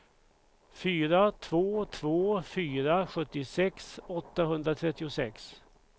fyra två två fyra sjuttiosex åttahundratrettiosex